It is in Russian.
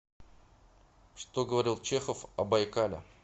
что говорил чехов о байкале